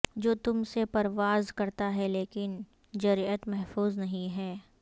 جو تم سے پرواز کرتا ہے لیکن جرئت محفوظ نہیں ہے